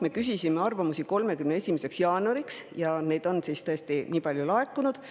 Me küsisime arvamusi 31. jaanuariks ja neid on tõesti nii palju laekunud.